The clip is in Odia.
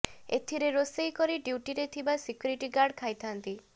ଏଥିରେ ରୋଷେଇ କରି ଡ୍ୟୁଟିରେ ଥିବା ସିକ୍ୟୁରିଟି ଗାର୍ଡ ଖାଇଥାନ୍ତି